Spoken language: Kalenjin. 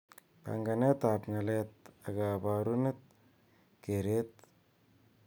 Panganet ab ng'alek ak kabarunet, keret ak kaumset ab data.